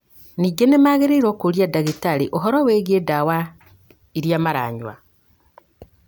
Ningĩ nĩ magĩrĩirũo kũũria ndagĩtarĩ ũhoro wĩgiĩ ndawa iria maranyua.